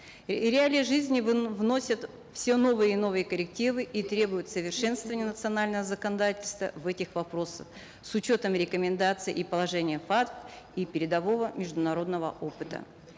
э реалии жизни вносят все новые и новые коррективы и требуют совершенствования национального законодательства в этих вопросах с учетом рекомендаций и положения фатф и передового международного опыта